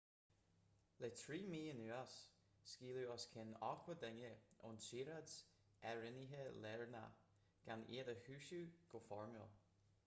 le 3 mhí anuas scaoileadh os cionn 80 duine ón tsaoráid áirithinte lárnach gan iad a chúiseamh go foirmiúil